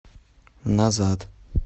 назад